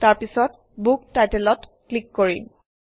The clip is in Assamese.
তাৰপিছত বুক Title অত ক্লিক কৰিম